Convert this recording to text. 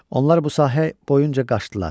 Onlar bu sahə boyunca qaçdılar.